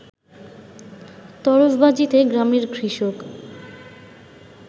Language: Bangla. তরফবাজিত গ্রামের কৃষক